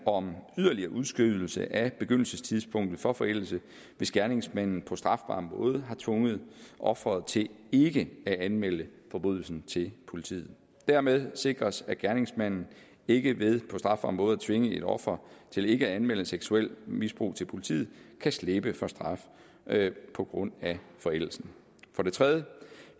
om yderligere udskydelse af begyndelsestidspunktet for forældelse hvis gerningsmanden på strafbar måde har tvunget offeret til ikke at anmelde forbrydelsen til politiet dermed sikres at gerningsmanden ikke ved på strafbar måde at tvinge et offer til ikke at anmelde seksuelt misbrug til politiet kan slippe for straf på grund af forældelsen for det tredje